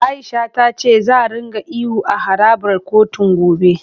A'isha ta ce za ringa ihu a harabar kotun, gobe.